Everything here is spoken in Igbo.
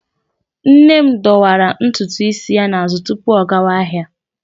Nne m dọwara ntutu isi ya n'azụ tupu ọ gawa ahịa.